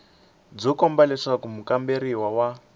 byo komba leswaku mukamberiwa wa